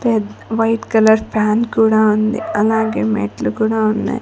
పె white colour fan కూడా ఉంది అలాగే మెట్లు కూడా ఉన్నాయి.